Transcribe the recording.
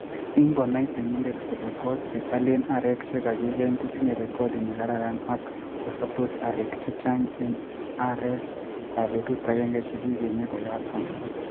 Ingonai temindet kole koot ne alen arek che kagigeny kotinye rekodi ne kararan ak kosoptos arek chechang en arekab betut agenge chekigenyen koyaton